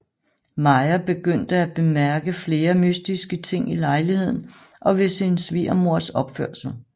Maja begynder at bemærke flere mystiske ting i lejligheden og ved sin svigermors opførsel